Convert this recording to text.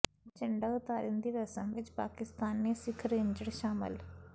ਝੰਡਾ ਉਤਾਰਨ ਦੀ ਰਸਮ ਵਿੱਚ ਪਾਕਿਸਤਾਨੀ ਸਿੱਖ ਰੇਂਜਰ ਸ਼ਾਮਲ